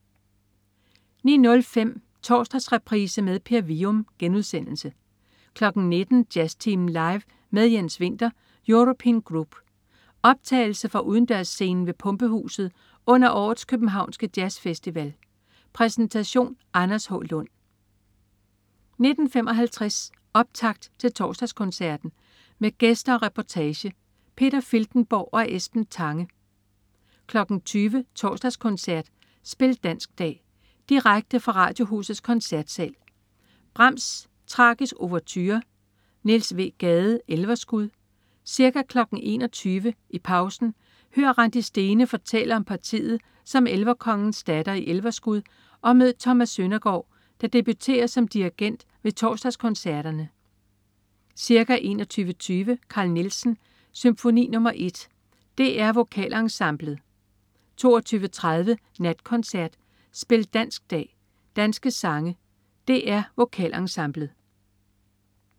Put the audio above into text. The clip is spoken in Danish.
09.05 Torsdagsreprise med Per Wium* 19.00 Jazztimen Live med Jens Winther European Group. Optagelse fra udendørsscenen ved Pumpehuset under årets københavnske jazzfestival. Præsentation: Anders H. Lund 19.55 Optakt til Torsdagskoncerten. Med gæster og reportage. Peter Filtenborg og Esben Tange 20.00 Torsdagskoncert. Spil dansk dag. Direkte fra Radiohusets Koncertsal. Brahms: Tragisk ouverture. Niels W. Gade: Elverskud. Ca. 21.00 I pausen: Hør Randi Stene fortælle om partiet som Elverkongens datter i Elverskud og mød Thomas Søndergård, der debuterer som dirigent ved Torsdagskoncerterne. Ca. 21.20 Carl Nielsen: Symfoni nr.1. DR Vokalensemblet 22.30 Natkoncert. Spil dansk dag. Danske sange. DR Vokalensemblet